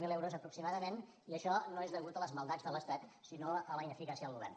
zero euros aproximadament i això no és a causa de les maldats de l’estat sinó a la ineficàcia del govern